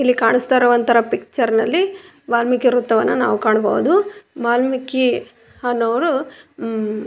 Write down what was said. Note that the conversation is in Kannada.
ಇಲ್ಲಿ ಕಾಣಿಸ್ತಾ ಇರುವಂತರ ಪಿಕ್ಚರ್ನಲ್ಲಿ ವಾಲ್ಮೀಕಿ ವ್ರತ್ತವನ್ನ ನಾವು ಕಾಣಬಹುದು ವಾಲ್ಮೀಕಿ ಅನ್ನೊವ್ರು --